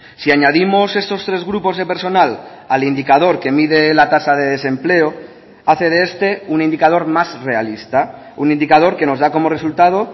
si añadimos estos tres grupos de personal al indicador que mide la tasa de desempleo hace de este un indicador más realista un indicador que nos da como resultado